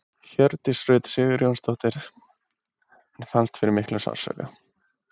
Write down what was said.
Hjördís Rut Sigurjónsdóttir: En fannst fyrir miklum sársauka?